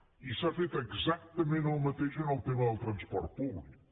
i s’ha fet exactament el mateix amb el tema del transport públic